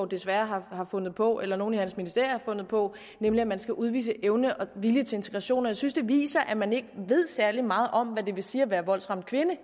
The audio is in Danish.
desværre har fundet på eller nogle i hans ministerium har fundet på nemlig at man skal udvise evne og vilje til integration jeg synes at det viser at man ikke ved særlig meget om hvad det vil sige at være voldsramt kvinde